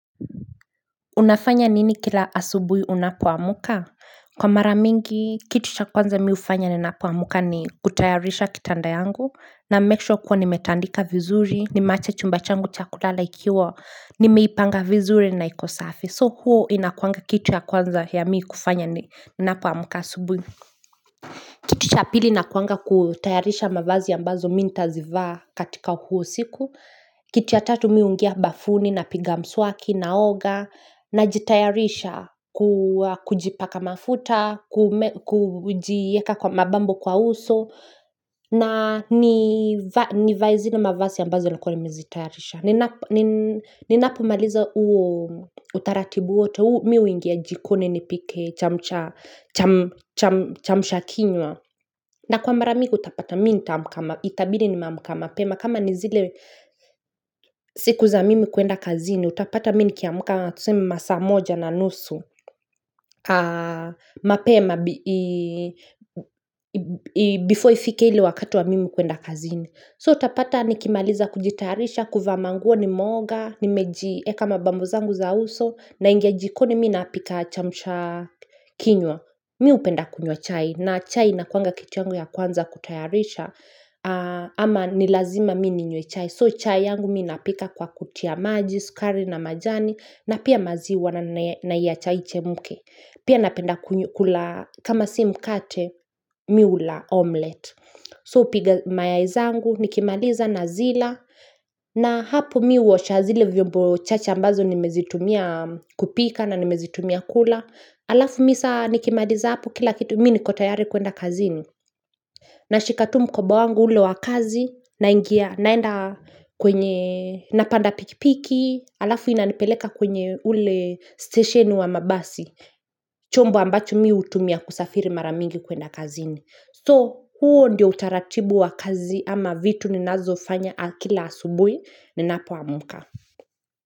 Unafanya nini kila asubui unapo amuka? Kwa mara mingi, kitu cha kwanza mi ufanya ni ninapo amka ni kutayarisha kitanda yangu na make sure kuwa nimetandika vizuri, nimeacha chumba changu cha kulala ikiwa nimeipanga vizuri na iko safi. So huo inakuanga kitu ya kwanza ya mi kufanya ni napo amka asubui Kitu cha pili nakuanga kutayarisha mavazi ambazo mi ntazivaa katika huo siku Kitu tatu mi hungia bafuni na piga mswaki na oga na jitayarisha kujipaka mafuta kujieka kwa mabambo kwa uso na nivae zile mavasi ambazo nilikuwa nimezi tayarisha Ninapo maliza uo utaratibu wote, mi ungia jikoni nipike cham, chamsha kinywa na kwa marami utapata mi ntaamka itabi ni nimeamka mapema kama ni zile siku za mimi kuenda kazini, utapata mi nikiamka tuseme masaa moja na nusu, mapema before ifike ili wakati wa mimi kuenda kazini. So utapata nikimaliza kujitayarisha, kuvaa manguo nimeoga, ni mejieka mabambo zangu za uso, na ingia jikoni mi napika chamsha kinywa. Mi upenda kunywa chai, na chai inakuanga kitu yangu ya kwanza kutayarisha, ama ni lazima mi ni nyue chai. So chai yangu mi napika kwa kutia majis, sukari na majani na pia maziwa na iyacha ichemke Pia napenda kula kama si mkate mi ula omlet. So upiga mayai zangu nikimaliza na zila na hapo mi uosha zile vyombo chache ambazo nimezitumia kupika na nimezitumia kula Alafu mi sa nikimaliza hapo kila kitu mi niko tayari kuenda kazini na shika tu mkoba wangu ule wakazi na ingia naenda siku za mimi kuenda kazini, utapata mi nikiamka tuseme masaamoja na nusu, mapema siku za mimi kuenda kazini, utapata mi nikiamka tuseme masaamoja na nusu, mapema so huo ndio utaratibu wa kazi ama vitu ninazo zifanya kila asubuhi ninapo amka.